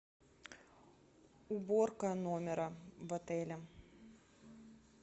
уборка номера в отеле